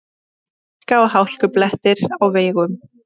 Hálka og hálkublettir á vegum